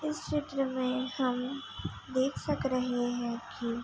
इस चित्र में हम देख सक रहे हैं कि --